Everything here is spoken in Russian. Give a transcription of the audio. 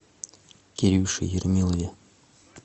кирюше ермилове